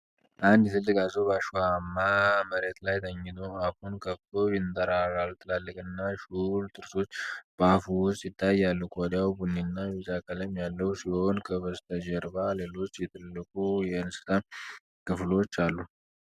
አንድ ትልቅ አዞ በአሸዋማ መሬት ላይ ተኝቶ አፉን ከፍቶ ያንጠረጥራል። ትላልቅና ሹል ጥርሶች በአፉ ውስጥ ይታያሉ። ቆዳው ቡኒና ቢጫ ቀለም ያለው ሲሆን፣ ከበስተጀርባ ሌሎች የትልቁ እንስሳ ክፍሎች አሉ።